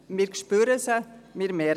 Wir spüren sie.